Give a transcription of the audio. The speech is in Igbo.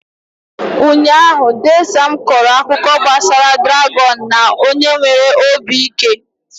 Ụnyaahụ, dee Sam kọrọ akụkọ gbasara dràgọn na onye nwere obi ike.